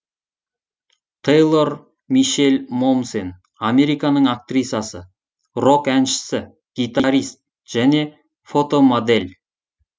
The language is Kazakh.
те йлор мише ль мо мсен американың актрисасы рок әншісі гитарист және фотомодель